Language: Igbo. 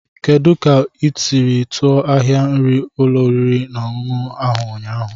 Kedu otu ị siri tuọ ahia nri n'ụlọ oriri na ọṅụṅụ ahụ ụnyaahụ?